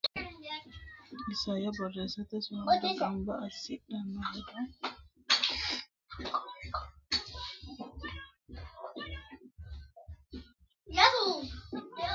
Isayyo Borreessa Sa u lamalara gamba assidhini hedo kaima assidhine lame qoola ikkitannota giddose lami hasaawa afidhino borro mittu mittunku borreessate wo naalle.